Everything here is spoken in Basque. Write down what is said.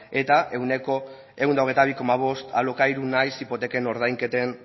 eta ehuneko ehun eta hogeita bi koma bost alokairu nahiz hipoteken ordainketen